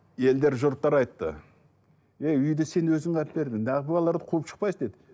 елдер жұрттар айтты әй үйді сен өзің алып бердің балаларды қуып шықпайсың деп